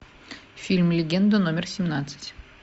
фильм легенда номер семнадцать